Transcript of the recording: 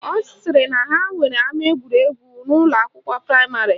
Ọ sịrị na ha nwere ama egwuregwu n'ụlọakwụkwọ praịmarị